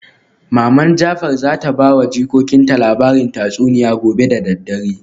Maman jafar zata bawa jikokinta labarin tatsuniya gobe da daddare